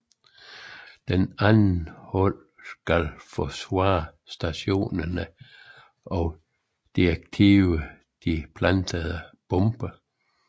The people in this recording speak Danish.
Det andet hold skal forsvare stationerne og deaktivere de plantede bomber